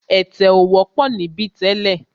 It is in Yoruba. Ẹ̀tẹ̀ ò wọ́pọ̀ níbí tẹ́lẹ̀.